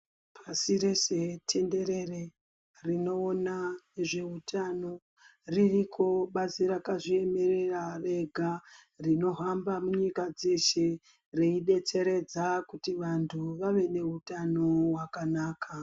Pashi rese tenderere rinoona zveutano ririko bazi rakazviemerera rega, rinohamba munyika dzeshe reidetseredza kuti vantu vave neutano hwakanaka.